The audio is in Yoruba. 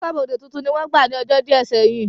Aṣọ́bọdè tuntun ni wọ́n gbà ní ọjọ́ díẹ̀ sẹ́yìn